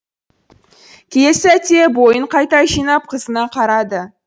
келесі сәтте бойын қайта жинап қызына қарады